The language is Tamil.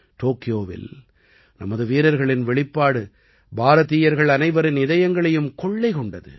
டோக்கியோவில் நமது வீரர்களின் வெளிப்பாடு பாரதீயர்கள் அனைவரின் இதயங்களையும் கொள்ளை கொண்டது